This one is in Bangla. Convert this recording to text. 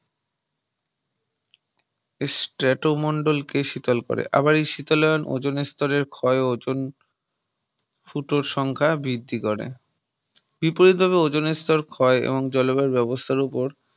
Strato মন্ডল কে শীতল করে আবার এই শীতলায়ন ওজন স্তরের ক্ষয় ozone ফুটোর সংখ্যা বৃদ্ধি করে বিপরীত ভাবে ozone স্তর ক্ষয় এবং জলবায়ু ব্যবস্থার উপর